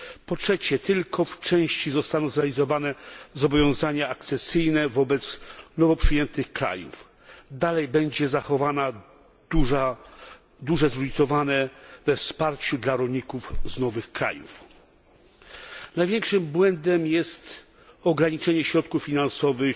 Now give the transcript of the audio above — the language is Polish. Po trzecie, tylko w części zostaną zrealizowane zobowiązania akcesyjne wobec nowo przyjętych krajów. Nadal będzie zachowane duże zróżnicowanie we wsparciu dla rolników z nowych krajów. Największym błędem jest ograniczenie środków finansowych